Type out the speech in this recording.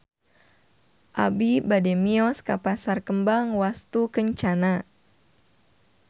Abi bade mios ka Pasar Kembang Wastukencana